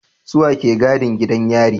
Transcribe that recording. Suwa ke gadin gidan yari